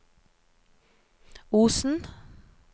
Osen